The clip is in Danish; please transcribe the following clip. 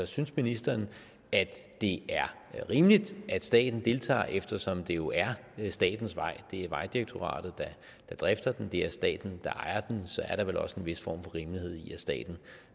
synes ministeren det er rimeligt at staten deltager eftersom det jo er statens vej det er vejdirektoratet der drifter den det er staten der ejer den så er der vel også en vis form for rimelighed i at staten